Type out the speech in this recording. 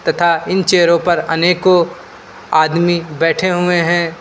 तथा इन चेयरो पर अनेकों आदमी बैठे हुए हैं।